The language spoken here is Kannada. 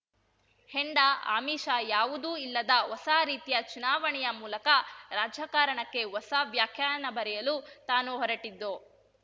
ಹೆಂಡ ಆಮಿಷ ಯಾವುದೂ ಇಲ್ಲದ ಹೊಸ ರೀತಿಯ ಚುನಾವಣೆಯ ಮೂಲಕ ರಾಜಕಾರಣಕ್ಕೆ ಹೊಸ ವ್ಯಾಖ್ಯಾನ ಬರೆಯಲು ತಾನು ಹೊರಟಿದ್ದು